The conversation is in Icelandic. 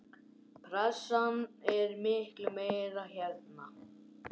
Pressan er miklu meiri hérna.